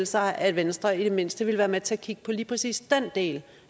sig at venstre i det mindste ville være med til at kigge på lige præcis den del